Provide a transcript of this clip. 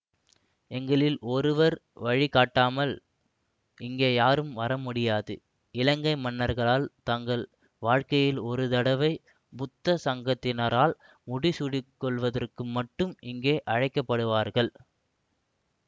எங்களில் ஒருவர் வழி காட்டாமல் இங்கே யாரும் வரமுடியாது இலங்கை மன்னர்களாள் தங்கள் வாழ்க்கையில் ஒரு தடவை புத்த சங்கத்தினரால் முடிசூடிக் கொள்வதற்கு மட்டும் இங்கு அழைக்கப்படுவார்கள்